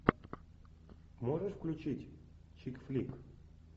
можешь включить чик флик